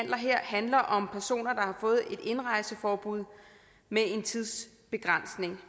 handler om personer der har fået et indrejseforbud med en tidsbegrænsning